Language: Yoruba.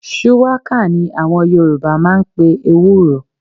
Shuwaka ní àwọn Yoruba máa ń pe ní EWÚRO.